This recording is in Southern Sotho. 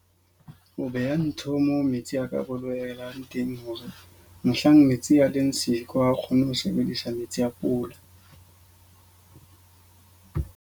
O beha ntho mo metsi a karolowelang teng. Hore mohlang metsi a leng siko a kgone ho sebedisa metsi a pula.